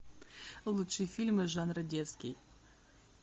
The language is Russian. лучшие фильмы жанра детский